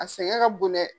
A sɛgɛn ka bon dɛ